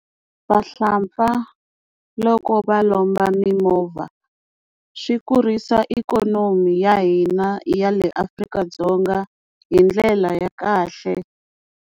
Vahlampfa loko va lomba mimovha swi kurisa ikonomi ya hina ya le Afrika-Dzonga hi ndlela ya kahle.